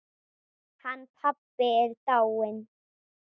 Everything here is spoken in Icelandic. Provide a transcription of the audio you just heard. Hann pabbi er dáinn.